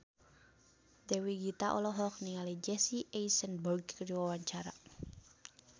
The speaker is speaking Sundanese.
Dewi Gita olohok ningali Jesse Eisenberg keur diwawancara